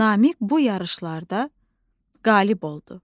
Namiq bu yarışlarda qalib oldu.